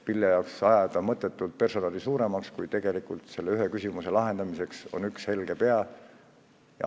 Mille jaoks ajada mõttetult personali suuremaks, kui tegelikult küsimuste lahendamiseks on üks helge pea olemas.